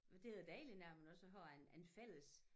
For det da dejligt når man også har en en fælles